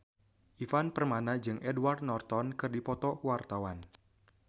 Ivan Permana jeung Edward Norton keur dipoto ku wartawan